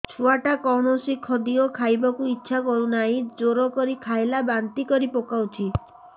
ଛୁଆ ଟା କୌଣସି ଖଦୀୟ ଖାଇବାକୁ ଈଛା କରୁନାହିଁ ଜୋର କରି ଖାଇଲା ବାନ୍ତି କରି ପକଉଛି